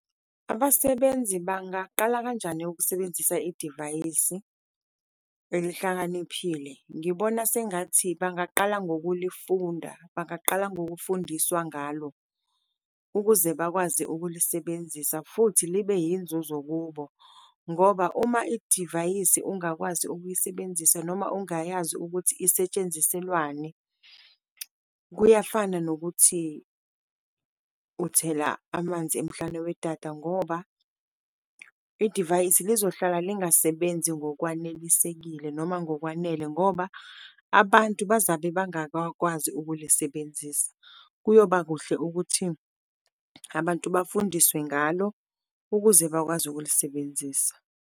Abasebenzi bangaqala kanjani ukusebenzisa idivayisi elihlakaniphile? Ngibona sengathi bangaqala ngokulifunda, bangaqala ngokufundiswa ngalo, ukuze bakwazi ukulisebenzisa futhi libe yinzuzo kubo, ngoba uma idivayisi ungakwazi ukuyisebenzisa noma ungayazi ukuthi isetshenziselwani, kuyafana nokuthi uthela amanzi emhlane wedada, ngoba idivayisi lizohlala lingasebenzi ngokwanelisekile noma ngokwanele. Ngoba abantu bazabe bangakwazi ukulisebenzisa. Kuyoba kuhle ukuthi abantu bafundiswe ngalo ukuze bakwazi ukulisebenzisa.